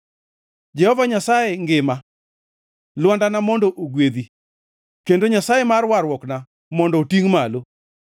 Jehova Nyasaye ngima! Lwandana mondo ogwedhi. Kendo Nyasaye mar Warruokna mondo otingʼ malo!